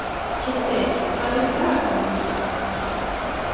Kiddi, hvað er í dagatalinu í dag?